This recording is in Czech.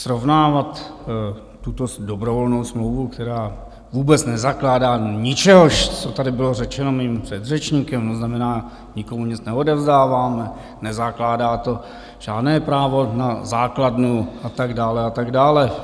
Srovnávat tuto dobrovolnou smlouvu, která vůbec nezakládá ničehož, co tady bylo řečeno mým předřečníkem, to znamená, nikomu nic neodevzdáváme, nezakládá to žádné právo na základnu a tak dále, a tak dále.